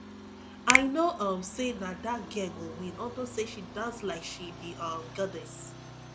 i know um say na dat girl go win unto say she dance like she be um goddess